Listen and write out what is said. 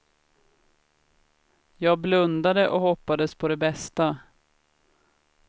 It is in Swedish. Jag blundade och hoppades på det bästa.